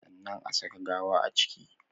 Sannan a saka gawa a ciki